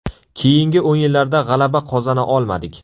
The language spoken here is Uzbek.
Keyingi o‘yinlarda g‘alaba qozona olmadik.